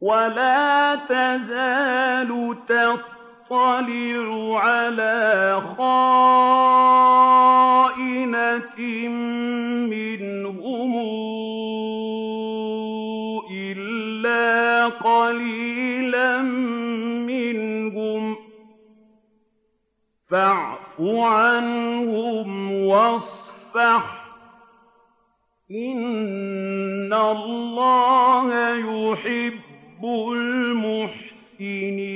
وَلَا تَزَالُ تَطَّلِعُ عَلَىٰ خَائِنَةٍ مِّنْهُمْ إِلَّا قَلِيلًا مِّنْهُمْ ۖ فَاعْفُ عَنْهُمْ وَاصْفَحْ ۚ إِنَّ اللَّهَ يُحِبُّ الْمُحْسِنِينَ